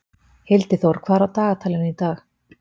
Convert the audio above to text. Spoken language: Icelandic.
Hildiþór, hvað er á dagatalinu í dag?